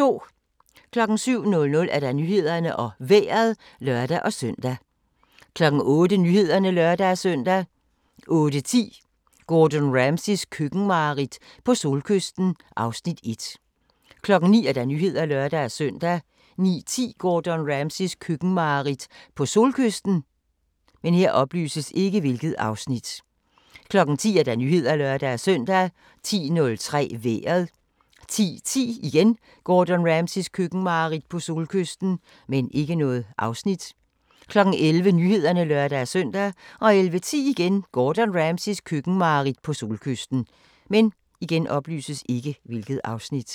07:00: Nyhederne og Vejret (lør-søn) 08:00: Nyhederne (lør-søn) 08:10: Gordon Ramsays køkkenmareridt - på solkysten (Afs. 1) 09:00: Nyhederne (lør-søn) 09:10: Gordon Ramsays køkkenmareridt - på solkysten 10:00: Nyhederne (lør-søn) 10:03: Vejret 10:10: Gordon Ramsays køkkenmareridt - på solkysten 11:00: Nyhederne (lør-søn) 11:10: Gordon Ramsays køkkenmareridt - på solkysten